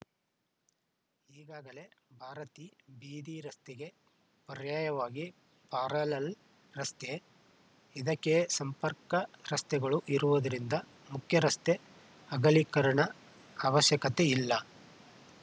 ಈಗಾಗಲೇಭಾರತೀ ಬೀದಿ ರಸ್ತೆಗೆ ಪರ್ಯಾಯವಾಗಿ ಪ್ಯಾರಲಲ್‌ ರಸ್ತೆ ಇದಕ್ಕೆ ಸಂಪರ್ಕ ರಸ್ತೆಗಳು ಇರುವುದರಿಂದ ಮುಖ್ಯರಸ್ತೆ ಅಗಲೀಕರಣ ಅವಶ್ಯಕತೆ ಇಲ್ಲ